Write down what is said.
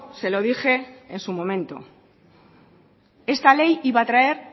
se lo dije en su momento esta ley iba a traer